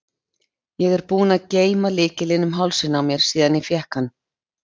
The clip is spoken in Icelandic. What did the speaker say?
Ég er búin að geyma lykilinn um hálsinn á mér síðan ég fékk hann.